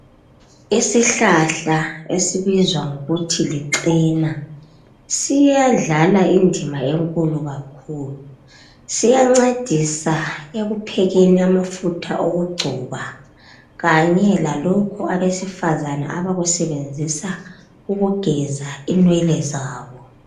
Isihlahla esibizwa ngokuthi lichena siyadlala indima enkulu kakhulu siyancedisa ekuphekeni amafutha okugcoba kanye lalokho abasefizana abakusebenzisa ukugeza inwele zabo